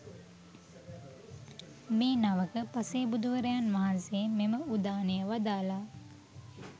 මේ නවක පසේබුදුවරයන් වහන්සේ මෙම උදානය වදාළා